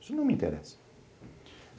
Isso não me interessa.